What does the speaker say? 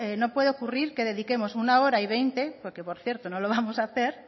no puede ocurrir que dediquemos uno hora y veinte porque por cierto no lo vamos a hacer